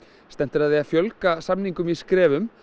stefnt er að því að fjölga samningum í skrefum